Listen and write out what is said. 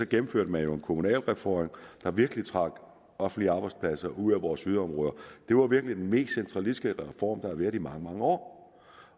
gennemførte man en kommunalreform der virkelig trak offentlige arbejdspladser ud af vores yderområder det var virkelig den mest centralistiske reform der har været i mange mange år